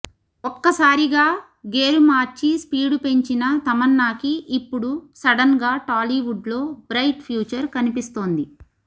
ఒక్కసారిగా గేరు మార్చి స్పీడు పెంచిన తమన్నాకి ఇప్పుడు సడన్గా టాలీవుడ్లో బ్రైట్ ఫ్యూచర్ కనిపిస్తోంది